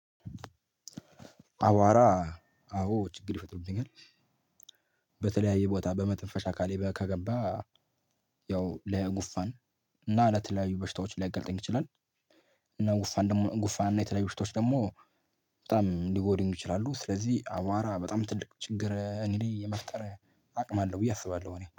አቧራ። አዎ ችግር ይፈጥርብኛል። በተለያየ ቦታ በመተንፈሻ አካሌ ከገባ። ያው ለጉንፋን እና ለተለያዩ በሽታዎች ሊይጋልጠኝ ይችላል። እና ጉንፋን ደግሞ ጉንፋን እና የተለያዩ በሽታዎች ደግሞ። በጣም ሊጎዱኝ ይችላሉ ስለዚህ አቧራ በጣም ትልቅ ችግር እኔ ላይ የመፍጠር አቅም አለው ብዬ አስባለሁ እኔ